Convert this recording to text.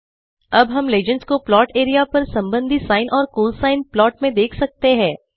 अब हम लीजेंड्स को प्लॉट एरिया पर संबंधी सिने और कोसाइन प्लॉट में देख सकते हैं